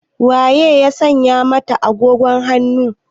Wa ye ya saya masa agogon hannun?